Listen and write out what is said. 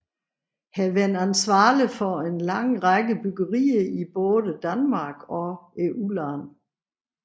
Er været ansvarlig for en lang række byggerier i både Danmark og udlandet